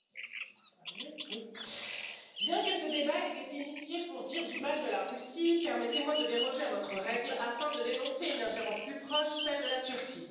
Monsieur le Président, bien que ce débat ait été demandé pour dire du mal de la Russie, permettez moi de déroger à votre règle afin de dénoncer une ingérence plus proche, celle de la Turquie.